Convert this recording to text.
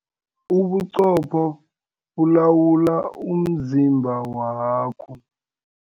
Ubuqopho bulawula umzimba wakho.